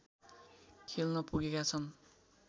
खेल्न पुगेका छन्